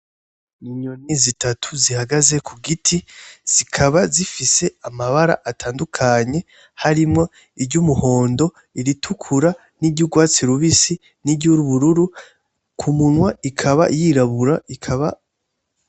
Inyoni zitatu zihagaze ku giti zikaba zifise amabara atandukanye harimwo iryumuhondo ,iritukura n'iryurwatsi rubisi n'iryubururu ku munwa ikaba yirabura ikaba.......